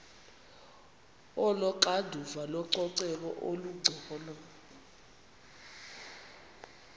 onoxanduva lococeko olungcono